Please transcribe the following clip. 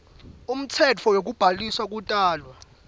umtsetfo wekubhalisa kutalwa